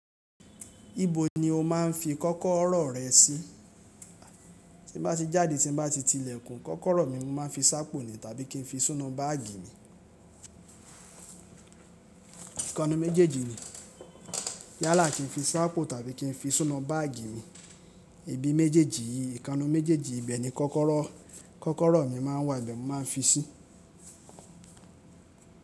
Ibo ni o máà ń fi kọ́kọ́rọ́ rẹ sí? Ti bá ti jáde, tí bá ti ti ilẹ̀kùn, kọ́kọ́rọ́ mi mo máa ń fi sápò ni tàbí kí n fi sinu báàgì mi. Nkan 'nu méjééjì ni. Yálà kí n fi sápò tàbí kí n fi sinu báàgì mi. Ibi méjèèjì, ìkanu méjèèjì ibẹ̀ ni kọ́kọ́rọ́, kọ́kọ́rọ́ mi máa ń wà níbẹ̀ mo máa ń fi sí.